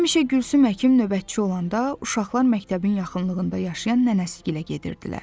Həmişə Gülsüm həkim növbətçi olanda uşaqlar məktəbin yaxınlığında yaşayan nənəsi gilə gedirdilər.